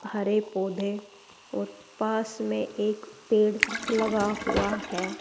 हरे पौधें और पास में एक पेड़ लगा हुआ है।